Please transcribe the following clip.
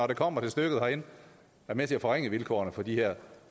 det kommer til stykket herinde er med til at forringe vilkårene for de her